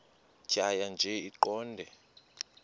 tjhaya nje iqondee